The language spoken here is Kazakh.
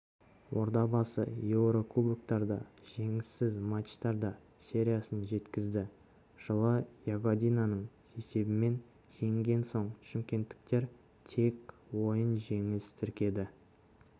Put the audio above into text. ордабасы еурокубоктарда жеңіссіз матчтар сериясын жеткізді жылы ягодинаны есебімен жеңген соң шымкенттіктер тең ойын жеңіліс тіркеді